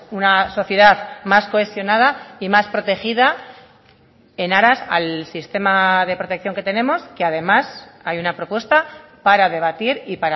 una sociedad más cohesionada y más protegida en aras al sistema de protección que tenemos que además hay una propuesta para debatir y